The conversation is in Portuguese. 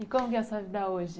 E como é a sua vida hoje?